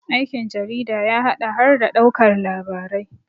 aikin jarida ya haɗa har da ɗaukar labarai